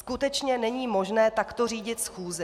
Skutečně není možné takto řídit schůzi!